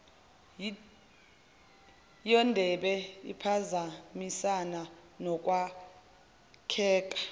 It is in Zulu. yodebe iphazamisana nokwakheka